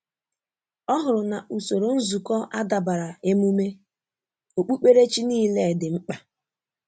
Ọ hụrụ na usoro nzukọ adabara emume okpukperechi niile dị mkpa.